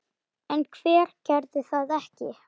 En hver gerði það ekki?